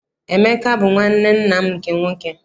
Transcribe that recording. Emeka bụ nwanne nna m nke nwoke.